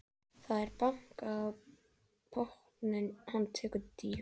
Það er bankað í botninn, hann tekur dýfu.